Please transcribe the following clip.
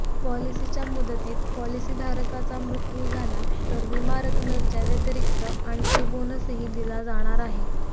पॉलिसीच्या मुदतीत पॉलिसीधारकाचा मृत्यू झाला तर विमा रकमेच्या व्यतिरिक्त आणखी बोनसही दिला जाणार आहे